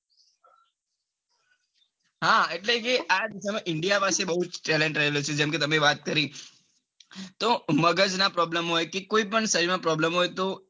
હા એટલે કે આજ સમય india બૌ જ talent રહેલો છે જેમ કે તમે વાત કરી તો મગજ ના problem કે કોઈ પણ શરીર નો problem હોય તો.